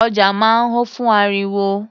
Ọjà máa ń ho fún ariwo.